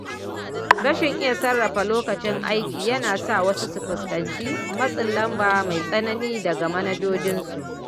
Rashin iya sarrafa lokacin aiki yana sa wasu su fuskanci matsin lamba mai tsanani daga manajojinsu.